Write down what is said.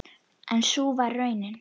En sú varð raunin.